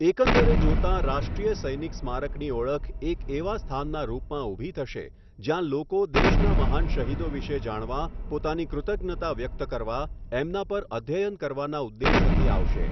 એકંદરે જોતાં રાષ્ટ્રીય સૈનિક સ્મારકની ઓળખ એક એવા સ્થાનના રૂપમાં ઊભી થશે જ્યાં લોકો દેશના મહાન શહીદો વિશે જાણવા પોતાની કૃતજ્ઞતા વ્યકત કરવા એમના પર અધ્યયન કરવાના ઉદ્દેશ્યથી આવશે.